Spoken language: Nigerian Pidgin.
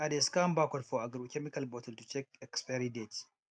i dey scan barcode for agrochemical bottle to check expiry date